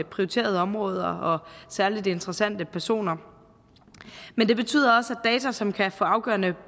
prioriterede områder og særligt interessante personer men det betyder også at data som kan få afgørende